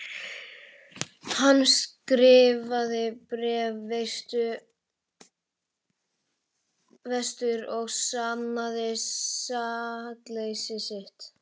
Hann skrifaði bréf vestur og sannaði sakleysi sitt.